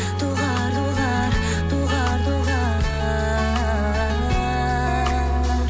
доғар доғар доғар доғар